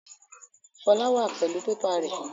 Folú wà pẹlu pépà rẹ.